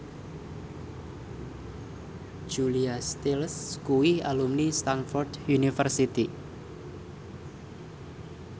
Julia Stiles kuwi alumni Stamford University